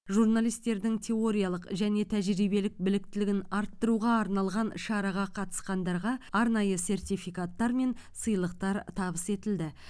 журналистердің теориялық және тәжірибелік біліктілігін арттыруға арналған шараға қатысқандарға арнайы сертификаттар мен сыйлықтар табыс етілді